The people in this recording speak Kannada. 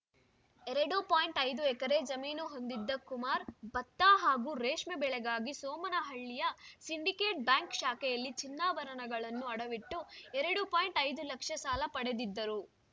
ಎರಡು ಪಾಯಿಂಟ್ ಐದು ಎಕರೆ ಜಮೀನು ಹೊಂದಿದ್ದ ಕುಮಾರ್‌ ಭತ್ತ ಹಾಗೂ ರೇಷ್ಮೆ ಬೆಳೆಗಾಗಿ ಸೋಮನಹಳ್ಳಿಯ ಸಿಂಡಿಕೇಟ್‌ ಬ್ಯಾಂಕ್‌ ಶಾಖೆಯಲ್ಲಿ ಚಿನ್ನಾಭರಣಗಳನ್ನು ಅಡವಿಟ್ಟು ಎರಡು ಪಾಯಿಂಟ್ ಐದುಲಕ್ಷ ಸಾಲ ಪಡೆದಿದ್ದರು